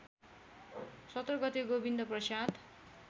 १७ गते गोविन्दप्रसाद